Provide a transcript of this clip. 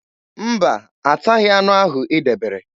Mba, ataghị anụ ahụ i debere.